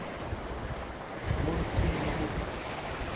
мунтинлупа